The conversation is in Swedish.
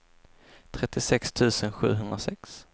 trettiosex tusen sjuhundrasex